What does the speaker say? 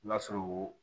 N'a sɔrɔ